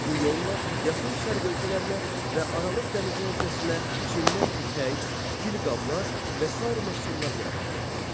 Bu yolla Yaxın Şərq ölkələrinə və Aralıq dənizi hövzəsinə Çindən ipək, gil qablar və sair məhsullar gətirilirdi.